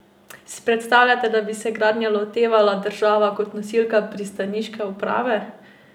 Si predstavljate, da bi se gradnje lotevala država kot nosilka pristaniške uprave?